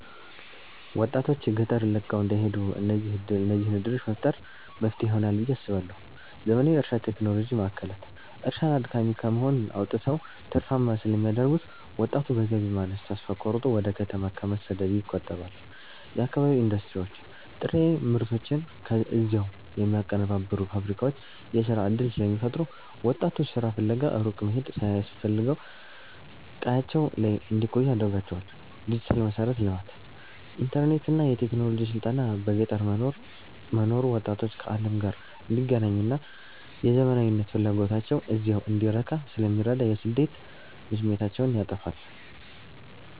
ወጣቶች ገጠርን ለቀው እንዳይሄዱ እነዚህን ዕድሎች መፍጠር መፍትሄ ይሆናል ብየ አስባለሁ ፩. ዘመናዊ የእርሻ ቴክኖሎጂ ማዕከላት፦ እርሻን አድካሚ ከመሆን አውጥተው ትርፋማ ስለሚያደርጉት፣ ወጣቱ በገቢ ማነስ ተስፋ ቆርጦ ወደ ከተማ ከመሰደድ ይቆጠባል። ፪. የአካባቢ ኢንዱስትሪዎች፦ ጥሬ ምርቶችን እዚያው የሚያቀነባብሩ ፋብሪካዎች የሥራ ዕድል ስለሚፈጥሩ፣ ወጣቱ ሥራ ፍለጋ ሩቅ መሄድ ሳያስፈልገው ቀያቸው ላይ እንዲቆዩ ያደርጋቸዋል። ፫. ዲጂታል መሠረተ ልማት፦ ኢንተርኔትና የቴክኖሎጂ ስልጠና በገጠር መኖሩ ወጣቶች ከዓለም ጋር እንዲገናኙና የዘመናዊነት ፍላጎታቸው እዚያው እንዲረካ ስለሚረዳ የስደት ስሜታቸውን ያጠፋዋል።